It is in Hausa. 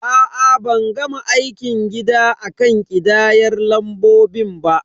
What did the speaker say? A'a, ban gama aikin gida akan ƙidayar lambobin ba.